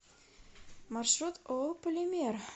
маршрут ооо полимер